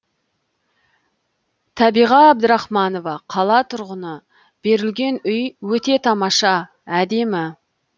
табиға әбдірахманова қала тұрғыны берілген үй өте тамаша әдемі